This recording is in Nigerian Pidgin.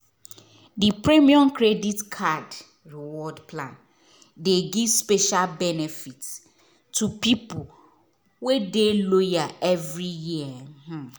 di premium credit card reward plan dey give special benefits to people wey dey loyal every year. um